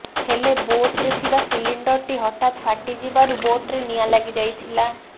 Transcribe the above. ହେଲେ ବୋଟରେ ଥିବା ସିଲିଣ୍ଡରଟି ହଠାତ ଫାଟି ଯିବାରୁ ବୋଟରେ ନିଆଁ ଲାଗି ଯାଇଥିଲା